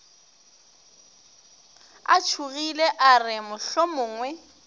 a tšhogile a re mohlomongwe